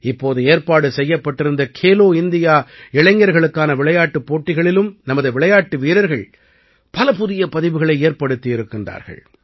இப்போது ஏற்பாடு செய்யப்பட்டிருந்த கேலோ இந்தியா இளைஞர்களுக்கான விளையாட்டுப் போட்டிகளிலும் நமது விளையாட்டு வீரர்கள் பல புதிய பதிவுகளை ஏற்படுத்தி இருக்கின்றார்கள்